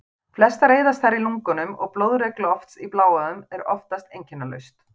Flestar eyðast þær í lungunum og blóðrek lofts í bláæðum er oftast einkennalaust.